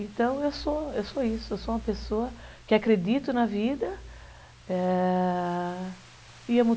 Então, eu sou isso, eu sou uma pessoa que acredito na vida, ãh...